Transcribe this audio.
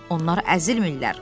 Onlar əzilmirlər,